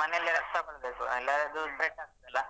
ಮನೆಯಲ್ಲೇ rest ತಗೊಳ್ಬೇಕು ಇಲ್ಲಾದ್ರೆ ಅದು spread ಆಗ್ತದೆ ಅಲಾ.